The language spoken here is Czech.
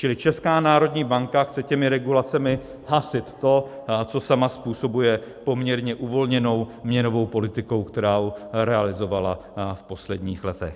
Čili Česká národní banka chce těmi regulacemi hasit to, co sama způsobuje poměrně uvolněnou měnovou politikou, kterou realizovala v posledních letech.